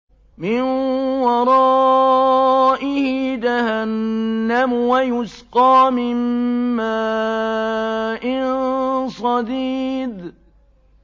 مِّن وَرَائِهِ جَهَنَّمُ وَيُسْقَىٰ مِن مَّاءٍ صَدِيدٍ